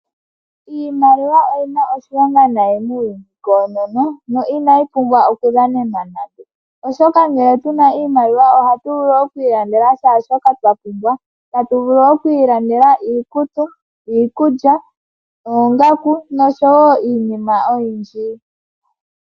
Iimaliwa oyina oshilonga nayi muuyuni koonono no ina yi pumba oku dhanenwa nande oshoka ngele tuna iimaliwa oha tu vulu okwiilandela shaa shoka twa pumbwa ta tu vulu oku ilandela iikutu, iikulya, oongaku, nosho woo iinima oyindji.